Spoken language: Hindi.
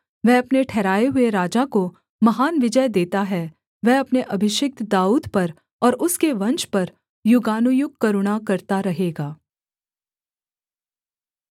वह अपने ठहराए हुए राजा को महान विजय देता है वह अपने अभिषिक्त दाऊद पर और उसके वंश पर युगानुयुग करुणा करता रहेगा